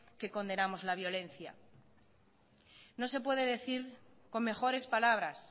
que condenamos la violencia no se puede decir con mejores palabras